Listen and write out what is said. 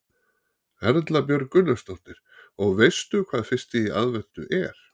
Erla Björg Gunnarsdóttir: Og veistu hvað fyrsti í aðventu er?